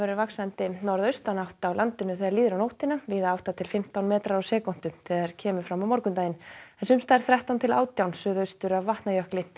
vaxandi norðaustan átt á landinu þegar líður á nóttina viða átta til fimmtán metrar á sekúndu þegar kemur fram á morgundaginn en þrettán til átján suðaustur af Vatnajökli